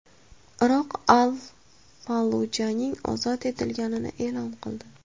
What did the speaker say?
Iroq Al-Fallujaning ozod etilganini e’lon qildi.